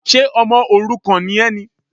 Ṣe ọmọ òrukàn ni ẹ ni?